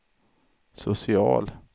social